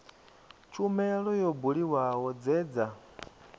tshumelo yo buliwaho dze dza